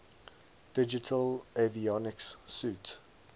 digital avionics suite